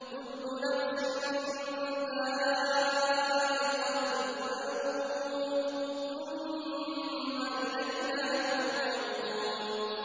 كُلُّ نَفْسٍ ذَائِقَةُ الْمَوْتِ ۖ ثُمَّ إِلَيْنَا تُرْجَعُونَ